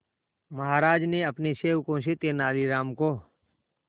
महाराज ने अपने सेवकों से तेनालीराम को